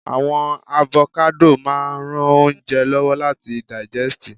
awon avokado maa n ran ounje lowo lati daijesti